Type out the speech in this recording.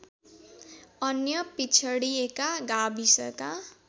अन्य पिछडिएका गाविसका